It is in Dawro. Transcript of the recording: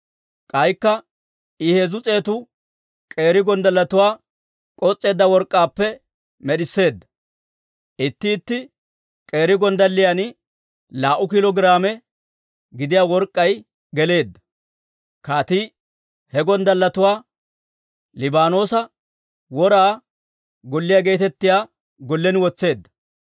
K'aykka I heezzu s'eetu k'eeri gonddalletuwaa k'os's'eedda work'k'aappe med'isseedda; itti itti k'eeri gonddalliyan laa"u kiilo giraame gidiyaa work'k'ay geleedda. Kaatii he gonddalletuwaa Liibaanoosa Wora Golliyaa geetettiyaa gollen wotseedda.